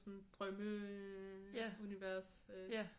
Sådan drømmeunivers øh